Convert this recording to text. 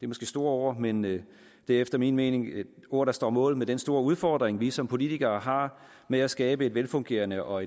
måske store ord men det er efter min mening ord der står mål med den store udfordring vi som politikere har med at skabe et velfungerende og